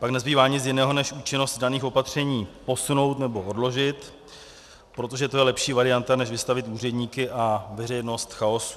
Pak nezbývá nic jiného, než účinnost daných opatření posunout nebo odložit, protože to je lepší varianta než vystavit úředníky a veřejnost chaosu.